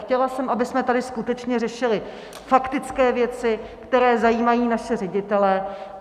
Chtěla jsem, abychom tady skutečně řešili faktické věci, které zajímají naše ředitele.